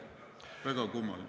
Väga kummaline.